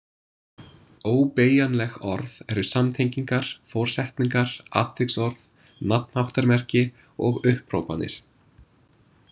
Óbeygjanleg orð eru samtengingar, forsetningar, atviksorð, nafnháttarmerki og upphrópanir